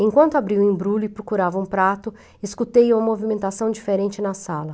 Enquanto abri o embrulho e procurava um prato, escutei uma movimentação diferente na sala.